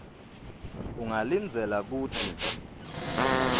ungalindzela kutsi